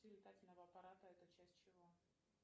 летательного аппарата это часть чего